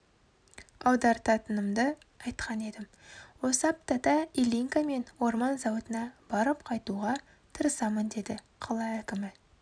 аударытынымды айтқан едім осы аптада ильинка мен орман зауытына барып қайтуға тырысамын деді қала әкімі